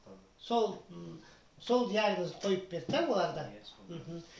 сол ммм сол диагнозды қойып берді де олар да иә сол мхм